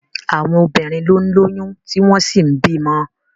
Àwọn obìnrin ló ń lóyún tí wọ́n sì ń bímọ.